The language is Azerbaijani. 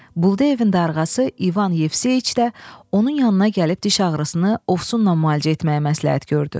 Buldeyevin darğası Ivan Yevse içdə onun yanına gəlib diş ağrısını ovsunla müalicə etməyi məsləhət gördü.